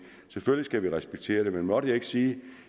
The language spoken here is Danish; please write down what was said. selvfølgelig skal respektere det men måtte jeg ikke sige at